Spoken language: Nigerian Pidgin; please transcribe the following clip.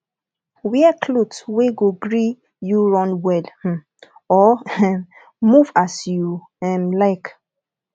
wear clothes wey go gree you run well um or um move as you um like